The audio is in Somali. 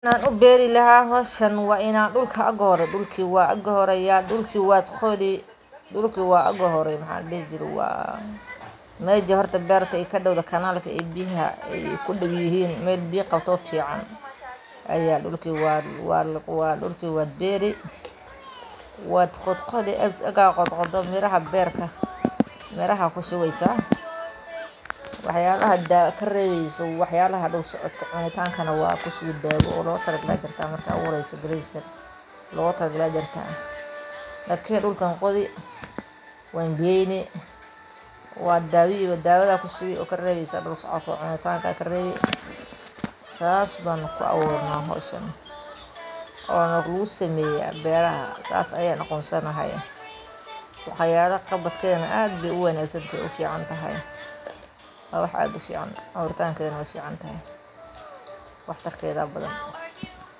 Waxaan u bari lahaa waa ini igi hore dhulki waa ini dhulki yaah iga hore waa qodi ee meesha ig hore beerta ay ka dhowdeh ee kanaalka ayaa qodi . Meel biya qabtoo fiican ayaa dhulkii waraabini oo ee waad qodqodi igaad qodqodo miraha beerta ayaa ,miraha ku shubeysaa wax yabaha aad ka rebeyso wax yabaha ,lakin dhulkaad qodi saas ayaan ku awuuri lahaa meeshan waa wax aad u fiican wax tarkeeda badan.